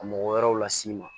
Ka mɔgɔ wɛrɛw las'i ma